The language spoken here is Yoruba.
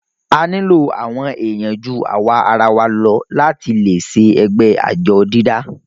a nílò àwọn èèyàn ju àwarawa lọ láti le ṣe ẹgbẹ́ àjọ dídá